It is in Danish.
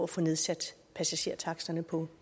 få nedsat passagertaksterne på